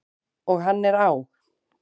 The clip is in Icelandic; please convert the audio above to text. Og hann er á!